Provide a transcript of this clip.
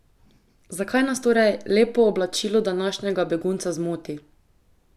Zakaj nas torej lepo oblačilo današnjega begunca zmoti?